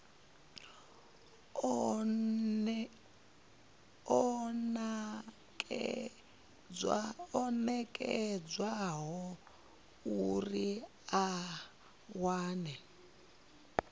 o nekedzwaho uri a wane